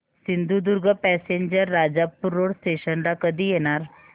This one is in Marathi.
Sindhudurg passenger Rajapur road station ला कधी येणार